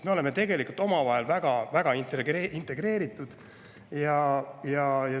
Me oleme tegelikult omavahel väga-väga integreeritud.